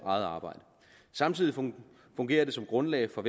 eget arbejde samtidig fungerer det som grundlag for